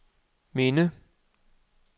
minde